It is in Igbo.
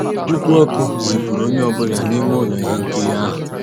Mkpú ọ́kụ́ zìpùrụ́ ónyé ọ́ bụ́là n'ímé ụ́lọ́ íhé nkírí ahụ́.